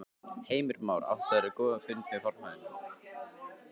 Heimir Már: Áttirðu góðan fund með formanninum?